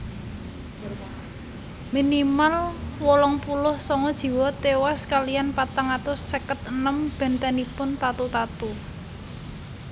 Minimal wolung puluh sanga jiwa tiwas kaliyan patang atus seket enem bèntenipun tatu tatu